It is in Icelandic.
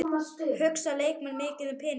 Hugsa leikmenn mikið um peninga?